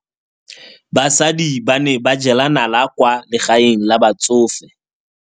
Basadi ba ne ba jela nala kwaa legaeng la batsofe.